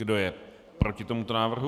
Kdo je proti tomuto návrhu?